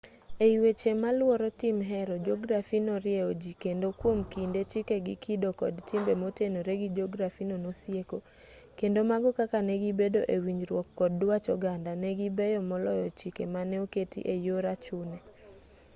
ei weche malworo tim hero jografi norieyo ji kendo kwom kinde chike gi kido kod timbe motenore gi jografino nosieko kendo mago kaka ne gibedo e winjruok kod dwach oganda ne gibeyo moloyo chike mane oketi e yor achune